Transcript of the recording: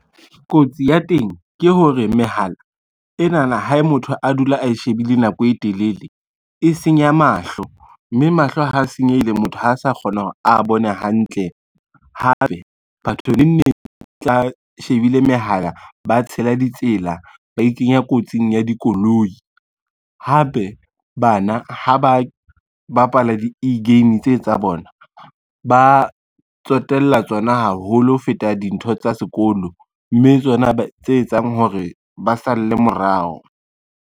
Kotsi ya teng ke hore, mehala enana ha motho a dula a shebile nako e telele, e senya mahlo, mme mahlo a senyehile, motho ha sa kgona hore a bone hantle. Hape batho nengneng tla ba shebile mehala ba tshela ditsela, ba ikenya kotsing ya dikoloi, hape bana ha ba ba bapala di-e-game tse tsa bona, ba tsotella tsona haholo ho feta dintho tsa sekolo, mme tsona tse etsang hore ba salle morao.